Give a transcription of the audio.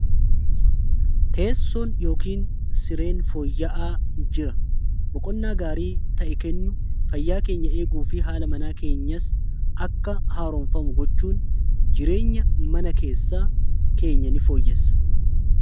teessoon yookn sireen fooyya'aa jira boqonnaa gaarii ta'e kennu fayyaa keenya eeguu fi haala manaa keenyas akka haaroonfamu gochuun jireenya mana keessaa keenya ni fooyyasa